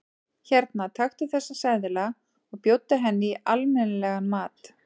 Hérna, taktu þessa seðla og bjóddu henni í almenni- legan mat.